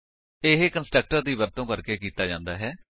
ਇਹ ਕੰਸਟਰਕਟਰ ਦੀ ਵਰਤੋ ਕਰਕੇ ਕੀਤਾ ਜਾਂਦਾ ਹੈ